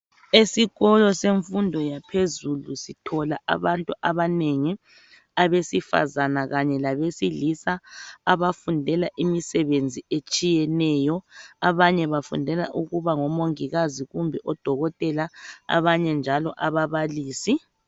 Esikolo semfundo yaphezulu sithola abantu abanengi abesifazana kanye labe silisa abafundela imisebenz etshiyeneyo abanye bafundela ukuba ngo mongikazi, kumbe odokotela abanye njalo ababalisi